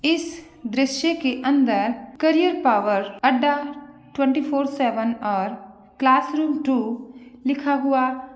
इस दृश्य के अन्दर करियर पावर अड्डा टूवेन्टी फोर सेवन और क्लासरूम टू लिखा हुआ --